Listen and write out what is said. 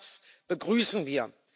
auch das begrüßen wir.